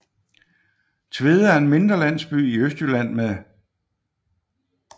Tvede er en mindre landsby i Østjylland med